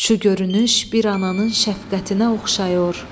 Şu görünüş bir ananın şəfqətinə oxşayır.